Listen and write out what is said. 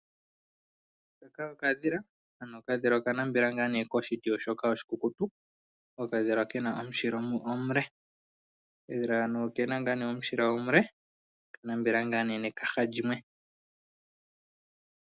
Okadhila Okadhila okanambela koshiti oshikukutu. Okadhila ke na omushindi omule. Okadhila haka oke na omushindi omule noka nambela nekaha limwe.